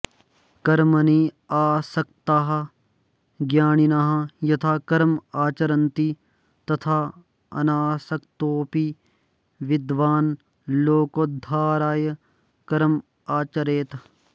कर्मणि आसक्ताः अज्ञानिनः यथा कर्म आचरन्ति तथा अनासक्तोऽपि विद्वान् लोकोद्धाराय कर्म आचरेत्